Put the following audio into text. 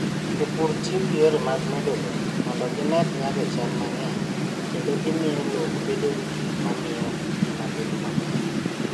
Jopur tiyo gi yore mag medo lowo mondo gimed nyago cham mang'eny kendo miyo lowo obed gi gik ma miyo ngima bedo maber.